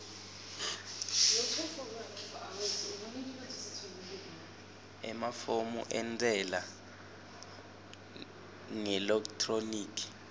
emafomu entsela ngeelekthroniki